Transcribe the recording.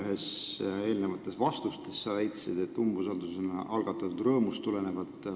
Ühes eelnevas vastuses sa väitsid, et umbusaldusavaldus on algatatud rõõmust tulenevalt.